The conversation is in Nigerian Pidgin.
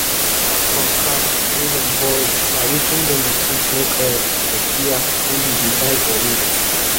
fat from cow wey dem boil na wetin dem um dey take make oil for suya wey we dey buy for road